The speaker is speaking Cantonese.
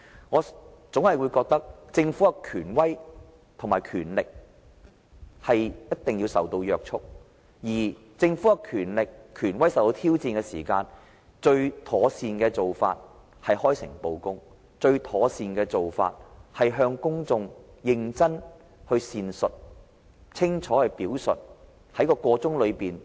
我認為，政府的權威和權力，須受到約束，而政府的權力和權威受到挑戰時，最妥善的做法是開誠布公，向公眾認真闡述、清楚表述。